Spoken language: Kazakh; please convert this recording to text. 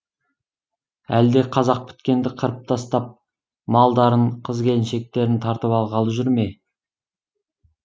әлде қазақ біткенді қырып тастап малдарын қыз келіншектерін тартып алғалы жүр ме